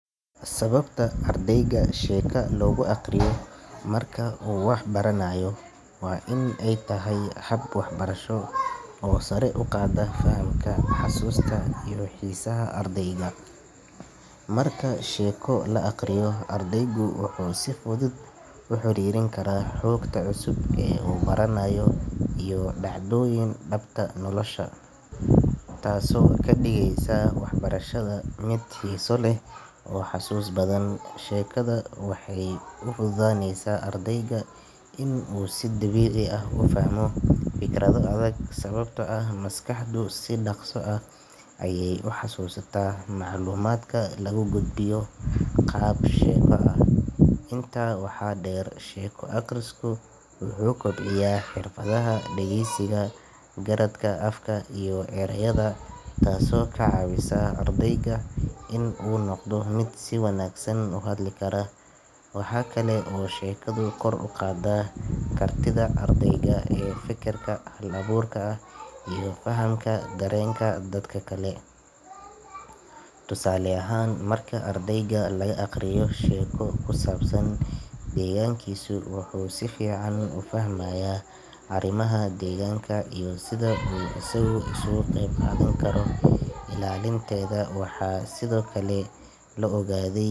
Sababta ardayga sheeko loogu akhriyo marka uu wax baranayo waa in ay tahay hab waxbarasho oo sare u qaada fahamka, xasuusta iyo xiisaha ardayga. Marka sheeko la akhriyo, ardaygu wuxuu si fudud u xiriirin karaa xogta cusub ee uu baranayo iyo dhacdooyin dhabta nolosha ah, taasoo ka dhigaysa waxbarashada mid xiiso leh oo xusuus badan. Sheekadu waxay u fududaynaysaa ardayga in uu si dabiici ah u fahmo fikrado adag, sababtoo ah maskaxdu si dhakhso ah ayay u xasuusataa macluumaadka lagu gudbiyo qaab sheeko ah. Intaa waxaa dheer, sheeko akhrisku wuxuu kobciyaa xirfadaha dhageysiga, garaadka afka iyo ereyada, taasoo ka caawisa ardayga inuu noqdo mid si wanaagsan u hadli kara. Waxa kale oo sheekadu kor u qaadaa kartida ardayga ee fekerka hal abuurka ah iyo fahamka dareenka dadka kale. Tusaale ahaan, marka ardayga laga akhriyo sheeko ku saabsan deegaankiisa, wuxuu si fiican u fahmayaa arrimaha deegaanka iyo sida uu isagu uga qeyb qaadan karo ilaalinteeda. Waxaa sidoo kale la ogaaday.